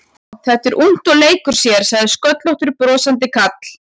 Já, þetta er ungt og leikur sér sagði sköllóttur brosandi karl.